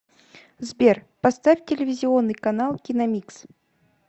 сбер поставь телевизионный канал киномикс